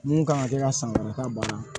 Mun kan ka kɛ ka san wɛrɛ ka bana